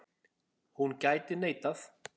Hún gæti neitað.